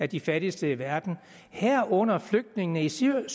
de fattigste i verden herunder flygtningene i syrien